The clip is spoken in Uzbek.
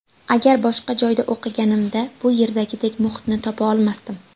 Agar boshqa joyda o‘qiganimda, bu yerdagidek muhitni topa olmasdim.